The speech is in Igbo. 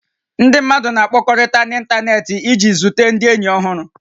Ndị mmadụ na-akpakọrị̀ta n'ịntanetị iji zute ndị ényì ọhụrụ